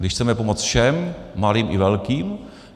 Když chceme pomoct všem, malým i velkým.